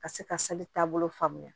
Ka se ka taabolo faamuya